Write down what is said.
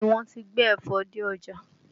Bẹẹ ni, wọ́n ti gbé ẹ̀fọ dé ọjà